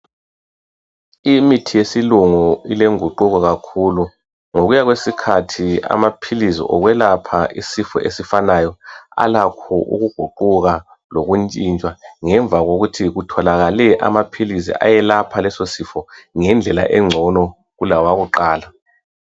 Imithi yesilungu ileguquko kakhulu ngokuya kwesikhathi amaphilisi okwelapha isifo ezifanayo alakho ukuguquka lokuntshitshwa ngemva lokuthi kutholakale amaphilisi ayelapha lesosifo ngendlela egcono kulawakuqala.